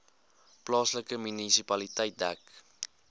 plaaslike munisipaliteit dek